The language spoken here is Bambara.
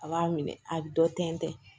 A b'a minɛ a bɛ dɔ tɛntɛn